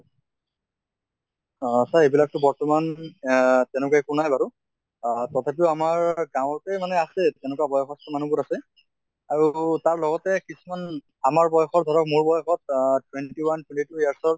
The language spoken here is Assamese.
আহ sir এইবিলাক টো বৰ্তমান আহ তেনেকুৱা একো নাই বাৰু। আহ তথাপিও আমাৰ গাঁৱতে মানে আছে, তেনেকুৱা বয়সস্থ মানুহবোৰ আছে। আৰু তাৰ লগতে কিছুমান আমাৰ বয়সৰ ধৰক মোৰ বয়সৰ আহ twenty one years ৰ